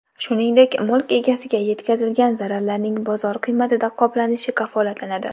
Shuningdek, mulk egasiga yetkazilgan zararlarning bozor qiymatida qoplanishi kafolatlanadi”.